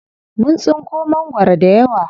Mun tsinko mangwaro dayawa.